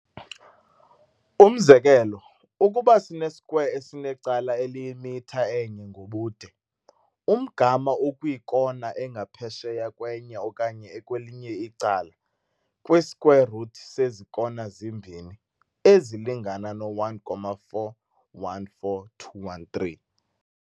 Umzekelo, ukuba sine-square esinecala eliyimitha enye ngobude, umgama okwiikona engaphesheya kwenye okanye ekwelinye icala, kwi-square-root sezi kona zimbini, ezilingana no-1.414213.